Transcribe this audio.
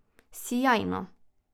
Sijajno!